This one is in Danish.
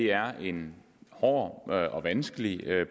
er en hård og vanskelig